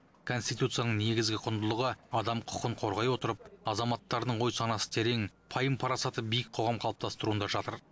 конституцияның негізгі құндылығы адам құқығын қорғай отырып азаматтарының ой санасы терең пайым парасаты биік қоғам қалыптастыруында жатыр